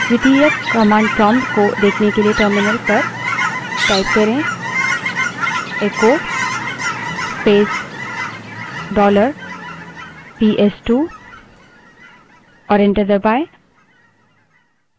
द्वितीयक command prompt को देखने के लिए terminal पर echo space dollar पीएसटू बड़े अक्षर में type करें और enter दबायें